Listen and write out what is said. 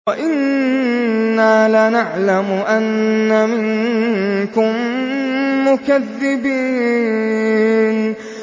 وَإِنَّا لَنَعْلَمُ أَنَّ مِنكُم مُّكَذِّبِينَ